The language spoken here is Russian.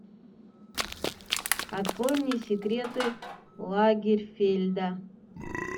открой мне секреты лагерфельда